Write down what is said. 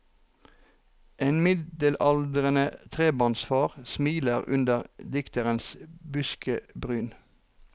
En middelaldrende trebarnsfar smiler under dikterens buskebryn.